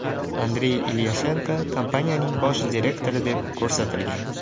Andrey Ilyashenko kompaniyaning bosh direktori deb ko‘rsatilgan.